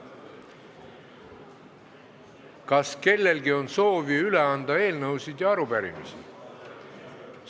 Kas kellelgi on soovi üle anda eelnõusid ja arupärimisi?